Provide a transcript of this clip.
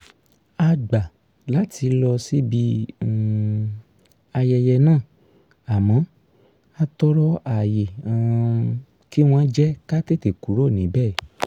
a gbà láti lọ síbi um ayẹyẹ náà àmọ́ a tọrọ àyè um kí wọ́n jẹ́ ká tètè kúrò níbẹ̀